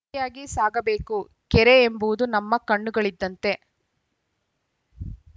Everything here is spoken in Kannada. ಜೊತೆಯಾಗಿ ಸಾಗಬೇಕು ಕೆರೆ ಎಂಬುದು ನಮ್ಮ ಕಣ್ಣುಗಳಿದ್ದಂತೆ